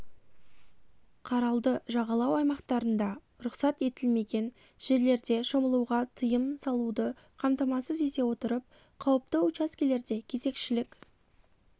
қаралды жағалау аймақтарында рұқсат етілмеген жерлерде щомылуға тыйым салуды қамтамасыз ете отырып қауіпті учаскелерде кезекшілік